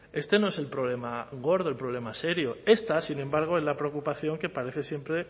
este no es el problema gordo el problema serio esta sin embargo es la preocupación que parece siempre